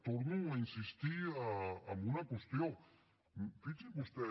torno a insistir en una qüestió fixi’s vostè